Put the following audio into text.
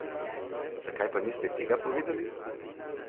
Zakaj pa niste tega povedali?